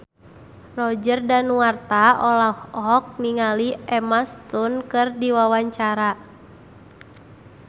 Roger Danuarta olohok ningali Emma Stone keur diwawancara